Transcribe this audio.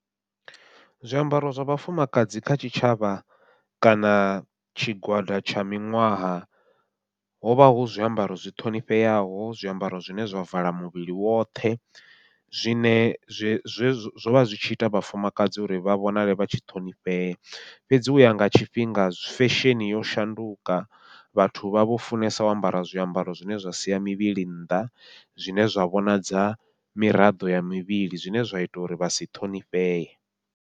Zwiambaro zwa vhafumakadzi kha tshitshavha, kana tshigwada tsha miṅwaha hovha hu zwiambaro zwi ṱhonifheaho zwiambaro zwine zwa vala muvhili woṱhe, zwine zwe zwe zwovha zwi tshi ita vhafumakadzi uri vha vhonale vha tshi ṱhonifhea. Fhedzi uya nga tshifhinga fesheni yo shanduka, vhathu vha vho funesa u ambara zwiambaro zwine zwa siya mivhili nnḓa, zwine zwa vhonadza miraḓo ya mivhili zwine zwa ita uri vha si ṱhonifhee.